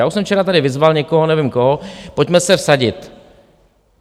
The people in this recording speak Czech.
Já už jsem včera tady vyzval někoho, nevím koho, pojďme se vsadit.